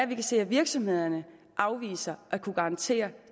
kan se at virksomhederne afviser at kunne garantere